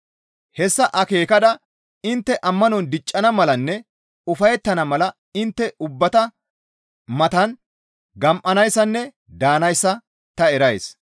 Hessa akeekada intte ammanon diccana malanne ufayettana mala intte ubbata matan gam7anayssanne daanayssa ta erays.